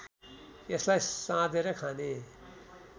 यसलाई साँदेर खाने